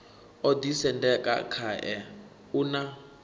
o ḓisendeka khae u na